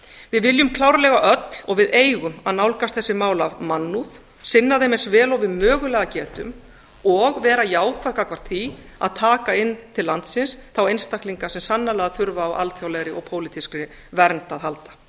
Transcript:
við viljum klárlega öll og við eigum að nálgast þessi mál af mannúð sinna þeim eins vel og við mögulega getum og vera jákvæð gagnvart því að taka inn til landsins þá einstaklinga sem sannarlega þurfa á alþjóðlegri og pólitískri vernd að halda